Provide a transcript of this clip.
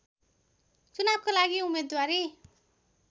चुनावको लागि उम्मेद्वारी